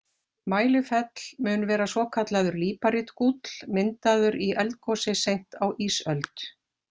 Mælifell mun vera svokallaður líparítgúll, myndaður í eldgosi seint á ísöld.